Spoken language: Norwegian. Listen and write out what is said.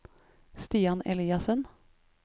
Stian Eliassen